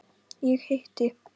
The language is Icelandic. Ég hitti